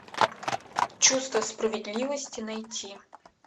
чувство справедливости найти